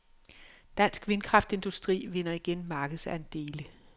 Dansk vindkraftindustri vinder igen markedsandele.